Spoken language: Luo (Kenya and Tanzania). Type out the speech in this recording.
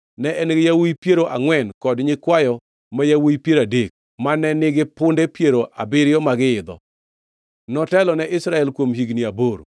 Ne en-gi yawuowi piero angʼwen kod nyikwayo ma yawuowi piero adek, mane nigi punde piero abiriyo ma giidho. Notelo ne Israel kuom higni aboro.